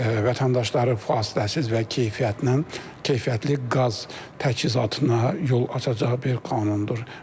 Vətəndaşları fasiləsiz və keyfiyyətnən, keyfiyyətli qaz təchizatına yol açacaq bir qanundur.